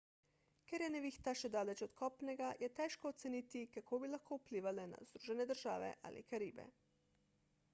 ker je nevihta še daleč od kopnega je težko oceniti kako bi lahko vplivala na združene države ali karibe